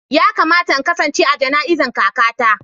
Ya kamata in kasance a jana'izan kaka ta.